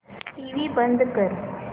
TV बंद कर